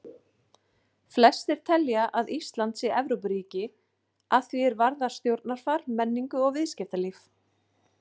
Flestir telja að Ísland sé Evrópuríki að því er varðar stjórnarfar, menningu og viðskiptalíf.